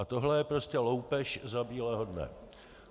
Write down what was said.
A tohle je prostě loupež za bílého dne!